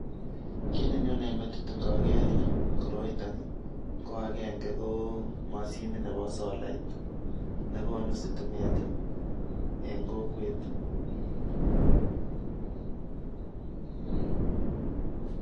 Kiiy nenyone metit ngageer koroito ko agenge, ko mashinit nebo solait nekonu stimet eng kokwet.